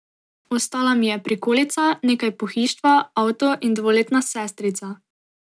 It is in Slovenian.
Ostala mi je prikolica, nekaj pohištva, avto in dvoletna sestrica.